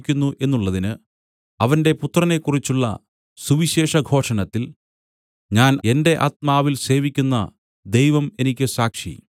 എന്നുള്ളതിന് അവന്റെ പുത്രനെക്കുറിച്ചുള്ള സുവിശേഷഘോഷണത്തിൽ ഞാൻ എന്റെ ആത്മാവിൽ സേവിക്കുന്ന ദൈവം എനിക്ക് സാക്ഷി